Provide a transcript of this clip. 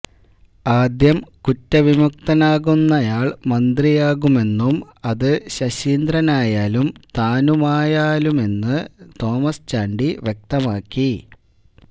ആദ്യം കുറ്റവിമുക്തനാകുന്നയാള് മന്ത്രിയാകുമെന്നും അത് ശശീന്ദ്രനായാലും താനായാലുമെന്ന് തോമസ് ചാണ്ടി വ്യക്തമാക്കി